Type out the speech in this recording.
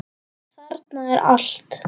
Þarna er allt.